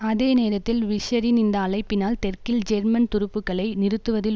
அதே நேரத்தில் பிஷ்ஷரின் இந்த அழைப்பினால் தெற்கில் ஜெர்மன் துருப்புக்களை நிறுத்துவதில்